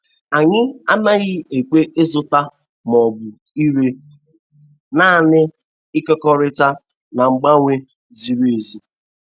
Anyị anaghị ekwe ịzụta ma ọ bụ ire, naanị ịkekọrịta na mgbanwe ziri ezi.